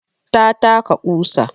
Ta taka ƙusa